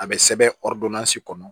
A bɛ sɛbɛn ɔrdodansi kɔnɔ